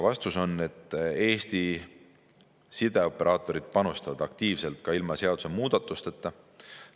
" Vastus on, et Eesti sideoperaatorid panustavad aktiivselt ka ilma seadusemuudatusteta.